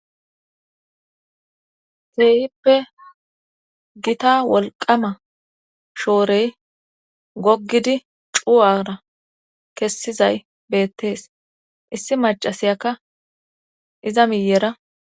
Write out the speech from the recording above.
teehippe gita wolqama shoorey goggidi cu7ara kessizay bettees issi macasiyaka iza miyera